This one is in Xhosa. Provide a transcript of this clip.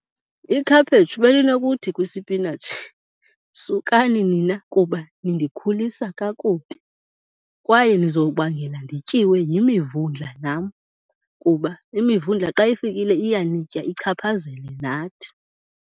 Ikhaphetshu belinokuthi kwisipinatshi, sukani nina kuba nindikhulisa kakubi kwaye nizobangela ndityiwe yimivundla nam kuba imivundla xa ifikile iyanitya, ichaphazele nathi.